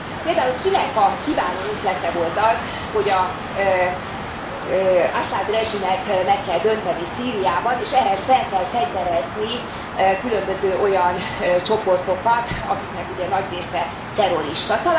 Például kinek a kiváló ötlete volt az, hogy az Aszad rezsimet meg kell dönteni Szíriában és ehhez fel kell fegyverezni különböző olyan csoportokat, akiknek ugye nagy része terrorista?